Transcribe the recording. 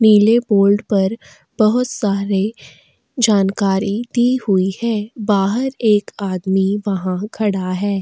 नीले बोर्ड पर बहुत सारे जानकारी दी हुई है बाहर एक आदमी वहाँ खड़ा है।